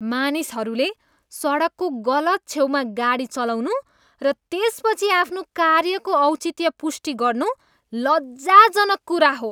मानिसहरूले सडकको गलत छेउमा गाडी चलाउनु र त्यसपछि आफ्नो कार्यको औचित्य पुष्टि गर्नु लज्जाजनक कुरा हो।